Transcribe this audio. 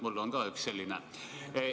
Mul on ka üks selline.